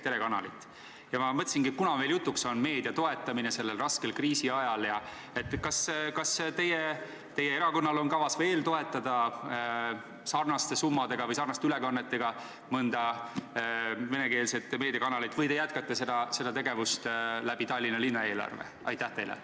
Kuna meil on jutuks meedia toetamine sellel raskel kriisiajal, siis kas teie erakonnal on kavas veel toetada sarnaste summade või sarnaste ülekannetega mõnda venekeelset meediakanalit või te jätkate seda tegevust Tallinna linna eelarve kaudu?